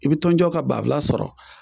I bi tɔnjɔ ka banfula sɔrɔ